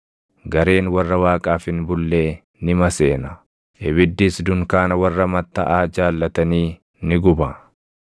Gareen warra Waaqaaf hin bullee ni maseena; ibiddis dunkaana warra mattaʼaa jaallatanii ni guba.